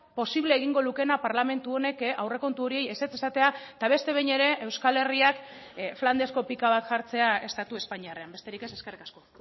posible egingo lukeena parlamentu honek aurrekontu hori ezetz esatea eta beste behin ere euskal herriak flandesko pika bat jartzea estatu espainiarrean besterik ez eskerrik asko